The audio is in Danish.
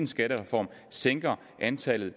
skattereform sænker antallet